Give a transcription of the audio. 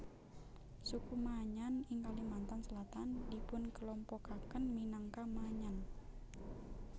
Suku Maanyan ing Kalimantan Selatan dipunkelompokaken minangka Maanyan